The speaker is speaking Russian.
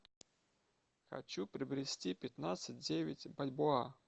хочу приобрести пятнадцать девять бальбоа